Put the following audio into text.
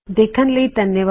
ਦੇਖਣ ਲਈ ਧੰਨਵਾਦ